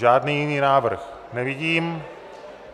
Žádný jiný návrh nevidím.